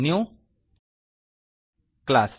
New class